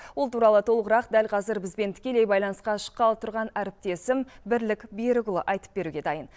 ол туралы толығырақ дәл кәзір бізбен тікелей байланысқа шыққалы тұрған әріптесім бірлік берікұлы айтып беруге дайын